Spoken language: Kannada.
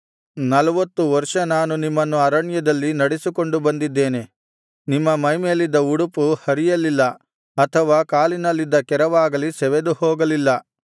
ನಲ್ವತ್ತು ವರ್ಷ ನಾನು ನಿಮ್ಮನ್ನು ಅರಣ್ಯದಲ್ಲಿ ನಡೆಸಿಕೊಂಡು ಬಂದಿದ್ದೇನೆ ನಿಮ್ಮ ಮೈಮೇಲಿದ್ದ ಉಡುಪು ಹರಿಯಲ್ಲಿಲ್ಲ ಅಥವಾ ಕಾಲಿನಲ್ಲಿದ್ದ ಕೆರವಾಗಲಿ ಸವೆದು ಹೋಗಲಿಲ್ಲ